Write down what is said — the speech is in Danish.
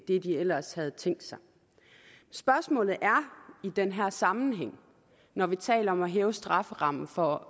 det de ellers havde tænkt sig spørgsmålet er i den her sammenhæng når vi taler om at hæve strafferammen for